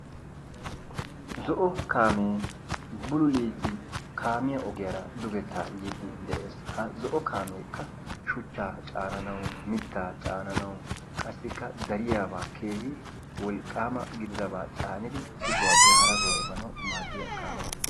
Zo"o kaamee bululiidi kaamiya ogiyaara dugeta yiidi dees ha zo"o kaamekka shuchchaa caananawu mitaa cananawu qassikka dariyabaa keehi wolqqaamaba gididaba caanidi issi sohuwappe hara sohuwa efaanawu maadiya kaame